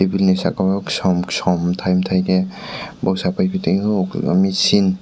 bini saka o som som tai tai ke boksai paipitio kabangma seen.